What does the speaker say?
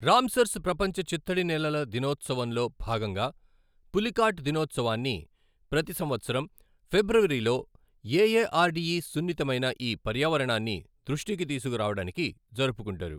Ramsar's ప్రపంచ చిత్తడి నేలల దినోత్సవంలో భాగంగా పులికాట్ దినోత్సవాన్ని ప్రతి సంవత్సరం ఫిబ్రవరిలో ఏఏఆర్డిఈ సున్నితమైన ఈ పర్యావరణాన్ని దృష్టికి తీసుకురావడానికి జరుపుకుంటారు.